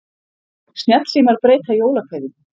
Snjallsímar breyta jólakveðjum